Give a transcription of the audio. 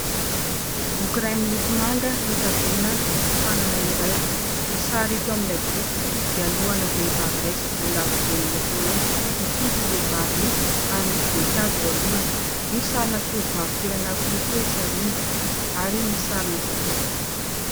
Boky iray miloko manga notazomina tanana iray. Ny sary hita eo amin'ilay boky dia lohana vehivavy iray sy volo lava be miloko mainty. Mikipy io vehivavy io ary misy voninkazo eo alohany. Misy sarina tovovavy kely anankiroa koa etsy aoriana ary misy sarina valopy.